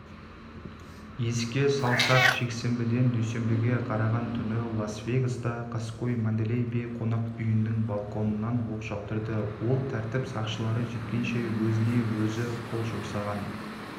еске салсақ жексенбіден дүйсенбіге қараған түні лас-вегаста қаскөй манделей бей қонақүйінің балконан оқ жаудырды ол тәртіп сақшылары жеткенше өзіне-өзі қол жұмсаған